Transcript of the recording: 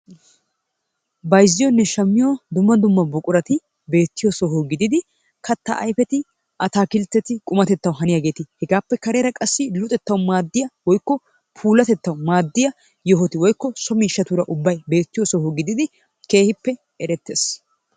Bayzziyonne shammiyo dumma dumma buqurati beettiyo soho gididi katta ayfeti, ataakiltteti qumatettawu haniyageeti kareera qassi luxettawu maaddiya woykko puulatettawu maaddiya yohoti woykko so miishshatuura ubbay beettiyo soho gididi keehippe erettees.